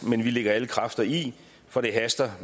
men vi lægger alle kræfter i for det haster